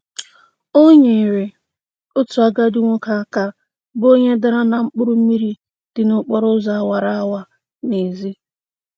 O nyeere otu agadi nwoke aka bụ onye dara na mkpụrụmmiri dị n'okporoụzọ awara awa n'ezi.